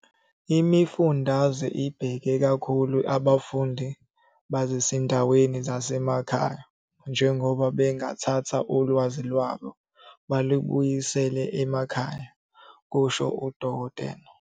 "Imifundaze ibheke kakhulu abafundi basezindaweni zasemakhaya njengoba bengathatha ulwazi lwabo balubuyisele emakhaya," kusho uDkt.